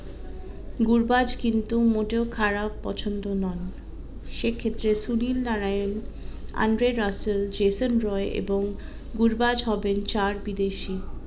গুরবাজ কিন্তু মোটেও খারাপ পছন্দ নন সে ক্ষেত্রে Sunil Narine Andre Russell Jason Roy এবং গুরবাজ হবেন চার বিদেশি